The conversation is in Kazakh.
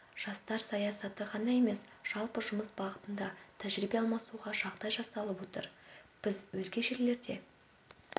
жастар саясаты ғана емес жалпы жұмыс бағытында тәжірибе алмасуға жағдай жасалып отыр біз өзге жерлерде